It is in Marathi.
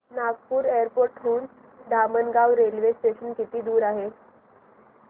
नागपूर एअरपोर्ट हून धामणगाव रेल्वे स्टेशन किती दूर आहे